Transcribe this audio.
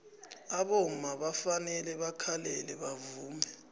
abomma bafanele bakhalele bavume